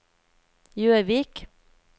Gjøvik